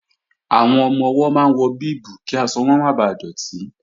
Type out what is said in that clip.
Àwọn ọmọ-ọwọ́ máa ń wọ bíìbù kí aṣọ wọn máa bà dọ̀tí